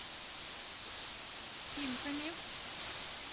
химками